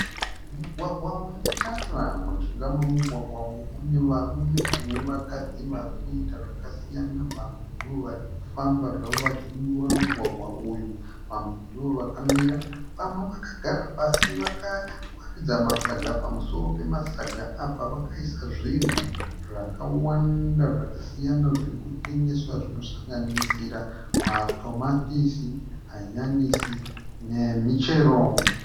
Mugwagwa une tara. Mujinga memugwagwa uyu mune varume nevakadzi vari kuita zvakasiyana vamwe ndovari kufamba zvavo vachidimbura mugwagwa uyu. Vamwe ndovakamira. Vamwe vakagara pasi vakawaridza masaga pamusoro pemasaga Apa vakaisa zvinhu zvakawanda zvakasiyana zviri kutengeswa zvinosanganisira matomatisi, hanyanisi nemichero